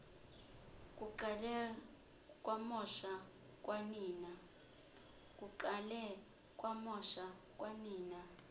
kuqale kwamosha kwanina